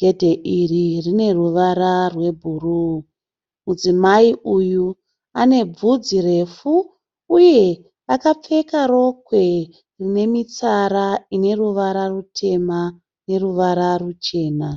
Gedhe iri rineruvara rwebhuruu. Mudzimai uyu anebvudzi refu uye akapfeka rokwe rinemitsara ineruvara rutema neruvara ruchena.